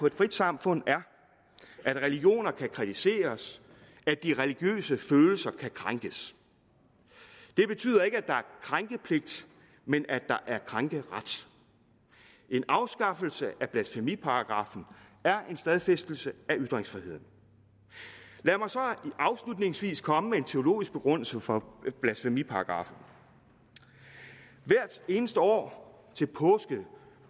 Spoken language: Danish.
et frit samfund er at religioner kan kritiseres at de religiøse følelser kan krænkes det betyder ikke at der er krænkepligt men at der er krænkeret en afskaffelse af blasfemiparagraffen er en stadfæstelse af ytringsfriheden lad mig så afslutningsvis komme med en teologisk begrundelse for blasfemiparagraffen hvert eneste år til påske